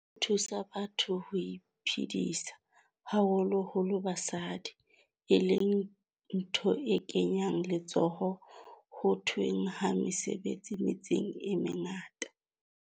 Di thusa batho ho iphedisa, haholo holo basadi, e leng ntho e kenyang letsoho ho the hweng ha mesebetsi metseng e mengata.